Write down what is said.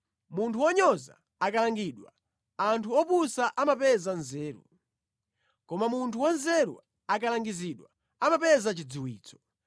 Munthu wonyoza akalangidwa, anthu opusa amapeza nzeru; koma munthu wanzeru akalangizidwa, amapeza chidziwitso.